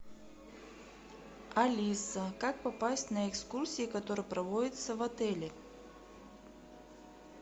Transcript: алиса как попасть на экскурсии которые проводятся в отеле